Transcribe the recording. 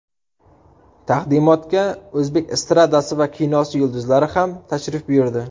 Taqdimotga o‘zbek estradasi va kinosi yulduzlari ham tashrif buyurdi.